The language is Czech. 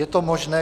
Je to možné.